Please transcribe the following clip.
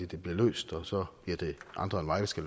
det bliver løst og så bliver det andre end mig der skal